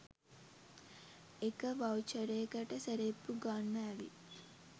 එක වවුචරේකට සෙරෙප්පු ගන්න ඇවිත්